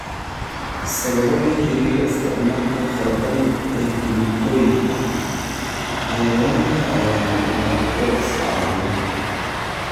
Sababo la xiriira isticmaalka khaldan ee kiimikooyinka, cayayaanka ayaa noqda kuwo iska caabiya.